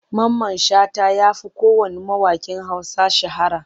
Mamman Shata ya fi kowanne mawaƙin Hausa shahara.